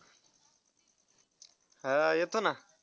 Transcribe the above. हा येतो ना.